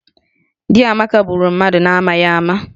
Di Amaka gburu mmadụ n'amaghị ama